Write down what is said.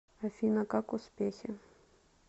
афина как успехи